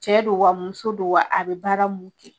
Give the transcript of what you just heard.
Cɛ don wa ,muso don wa ,a be baara mun kɛ.